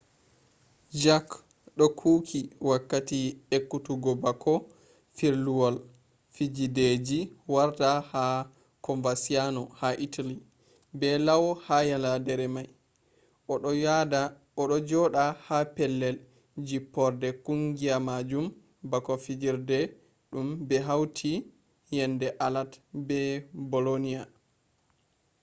jarque do kuuki wakkati ekkutuggo bako firluwol fijideji warta ha coverciano ha italy be lau ha yaladere mai. o do joda ha pellel jipporde kungiya majum bako fijirde dum be hauti yende alad be bolonia